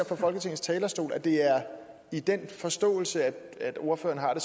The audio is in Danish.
fra folketingets talerstol at det er i den forståelse ordføreren har det